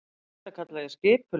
Og þetta kalla ég skipulag.